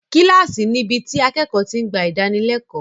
Kíláàsì níbi tí akẹ́kọ̀ọ́ ti ń gba ìdánilẹ́kọ̀ọ́.